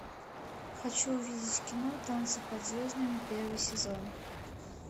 хочу увидеть кино танцы под звездами первый сезон